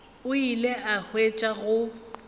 o ile a hwetša go